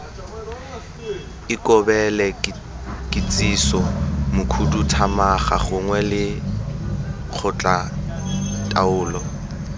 ikobele kitsiso mokhuduthamaga gongwe lekgotlataolo